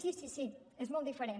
sí sí sí és molt diferent